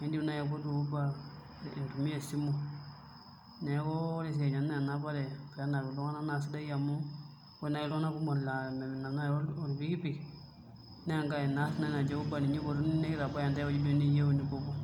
iindim naai aipotu Uber itumia esimu neeku ore esiai enaa enapare pee enap iltung'anak naa sidai amu ore naai iltung'anak kumok naai oonap orpikipik naa inaari naji Uber naai ipotuni nitbaya ntae ewueoi duo nipuopuo.